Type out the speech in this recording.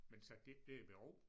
Men satte de ikke det i bero?